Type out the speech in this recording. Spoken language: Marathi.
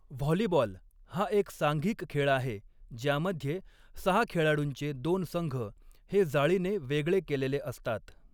व्हॉलीबॉल हा एक सांघिक खेळ आहे ज्यामध्ये सहा खेळाडूंचे दोन संघ हे जाळीने वेगळे केलेले असतात.